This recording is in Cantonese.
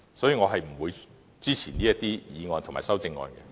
所以，我不會支持這議案及修正案。